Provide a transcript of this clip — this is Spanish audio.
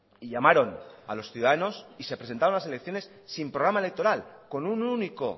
y llamaron a los ciudadanos y se presentaron las elecciones sin programa electoral con un único